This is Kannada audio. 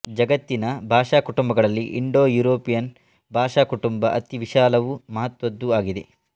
ಜಗತ್ತಿನ ಭಾಷಾಕುಟುಂಬಗಳಲ್ಲಿ ಇಂಡೋಯೂರೋಪಿಯನ್ ಭಾಷಾಕುಟುಂಬ ಅತಿ ವಿಶಾಲವೂ ಮಹತ್ತ್ವದ್ದೂ ಆಗಿದೆ